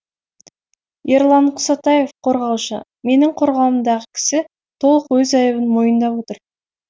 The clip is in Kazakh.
ерлан құсатаев қорғаушы менің қорғауымдағы кісі толық өз айыбын мойындап отыр